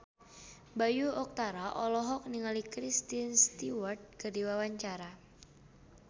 Bayu Octara olohok ningali Kristen Stewart keur diwawancara